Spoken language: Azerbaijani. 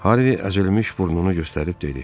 Harvi əzilmiş burnunu göstərib dedi: